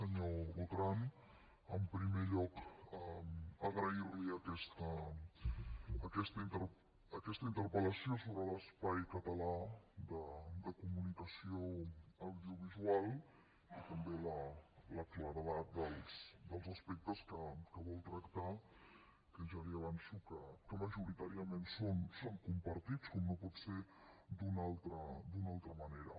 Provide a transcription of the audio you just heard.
senyor botran en primer lloc agrair li aquesta interpel·lació sobre l’espai català de comunicació audiovisual i també la claredat dels aspectes que vol tractar que ja li avanço que majoritàriament són compartits com no pot ser d’una altra manera